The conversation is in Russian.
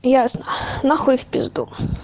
ясно нахуй в пизду